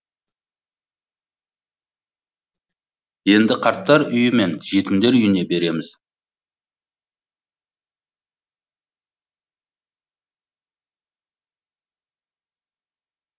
енді қарттар үйі мен жетімдер үйіне береміз